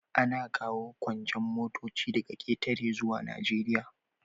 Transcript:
Ana kawo kuncen motoci daga ƙetare zuwa Najeriya.